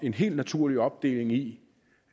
en helt naturlig opdeling i